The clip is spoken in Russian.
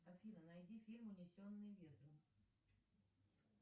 афина найди фильм унесенные ветром